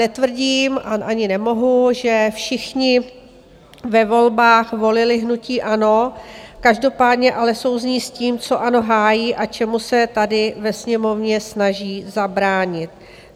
Netvrdím a ani nemohu, že všichni ve volbách volili hnutí ANO, každopádně ale souzní s tím, co ANO hájí a čemu se tady ve Sněmovně snaží zabránit.